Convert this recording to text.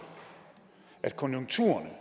at konjunkturerne